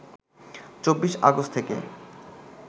২৪ August থেকে